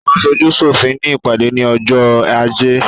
Àwọn aṣojú sòfin ní ìpàdé ní ọjọ́ ajé